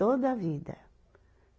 Toda a vida.